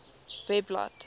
webblad